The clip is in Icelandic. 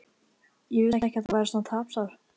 Ég vissi ekki að þú værir svona tapsár.